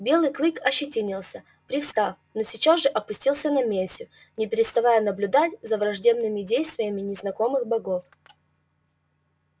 белый клык ощетинился привстал но сейчас же опустился на месю не переставая наблюдать за враждебными действиями незнакомых богов